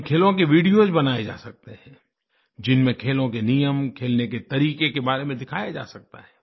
इन खेलों के वीडियोस बनाए जा सकते हैं जिनमें खेलों के नियम खेलने के तरीके के बारे में दिखाया जा सकता है